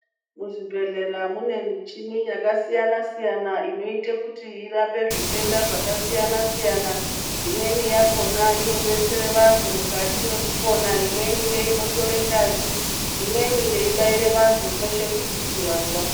Muzvibhedhlera mune michini yakasiyana-siyana inoite kuti irape zvitenda zvakasiyana-siyana. Imweni yakona inobetsere vantu mukati mwekupona. Imweni ngeinotore ngazi, imweni yeibaire vantu kweshe kuri kuti vantu vapone.